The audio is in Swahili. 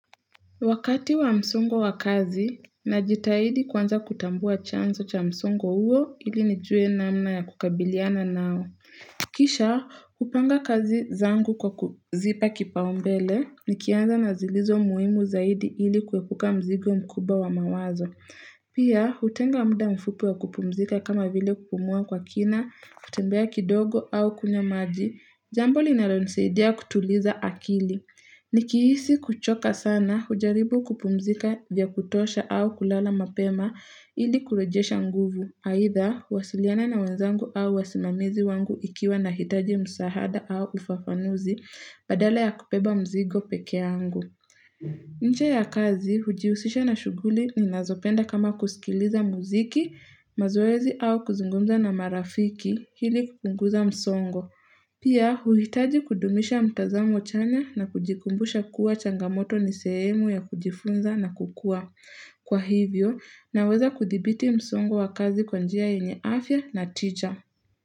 Wakati wa msongo wa kazi, najitahidi kwanza kutambua chanzo cha msongo huo ili nijue namna ya kukabiliana nao. Kisha, hupanga kazi zangu kwa kuzipa kipaumbele, nikianza na zilizo muhimu zaidi ili kuepuka mzigo mkubwa wa mawazo. Pia, hutenga muda mfupi wa kupumzika kama vile kupumua kwa kina, kutembea kidogo au kunywa maji, Jambo linalonisaidia kutuliza akili. Nikihisi kuchoka sana, hujaribu kupumzika vya kutosha au kulala mapema ili kurejesha nguvu. Aidha, huwasiliana na wenzangu au wasimamizi wangu ikiwa nahitaji msaada au ufafanuzi badala ya kubeba mzigo peke yangu. Nje ya kazi, hujihusisha na shughuli ninazopenda kama kusikiliza muziki, mazoezi au kuzungumza na marafiki ili kupunguza msongo. Pia huitaji kudumisha mtazamo chanya na kujikumbusha kuwa changamoto ni sehemu ya kujifunza na kukua. Kwa hivyo, naweza kudhibiti msongo wa kazi kwa njia yenye afya na tija.